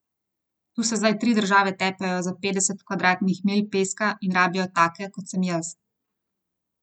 Tu se zdaj tri države tepejo za petdeset kvadratnih milj peska in rabijo take, kot sem jaz.